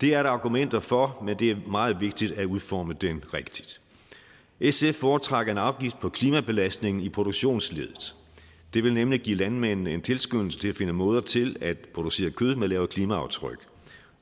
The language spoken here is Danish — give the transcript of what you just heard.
det er der argumenter for men det er meget vigtigt at udforme den rigtigt sf foretrækker en afgift på klimabelastning i produktionsleddet det vil nemlig give landmændene en tilskyndelse til at finde måder til at producere kød med lavere klimaaftryk